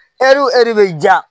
bɛ ja